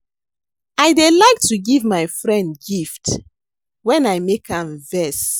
I dey like to give my friend gift wen I make am vex